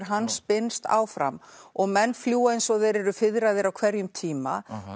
hann spinnst áfram og menn fljúga eins og þeir eru fiðraðir á hverjum tíma